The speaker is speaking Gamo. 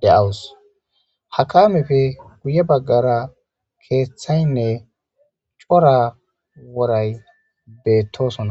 de'awusu.ha kameppe guye baggara keththayinne cora woray beettosona